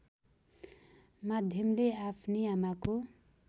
माध्यमले आफ्नी आमाको